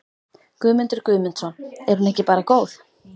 Guðmundur Guðmundsson: Er hún ekki bara góð?